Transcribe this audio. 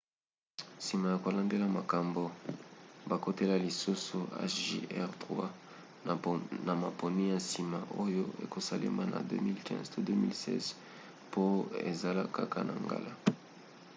nsima ya kolandela makambo bakotalela lisusu hjr-3 na maponi ya nsima oyo ekosalema na 2015 to 2016 po ezala kaka na ngala